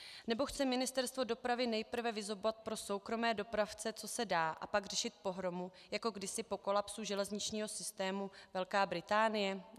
Nebo chce Ministerstvo dopravy nejprve vyzobat pro soukromé dopravce, co se dá, a pak řešit pohromu jako kdysi po kolapsu železničního systému Velká Británie?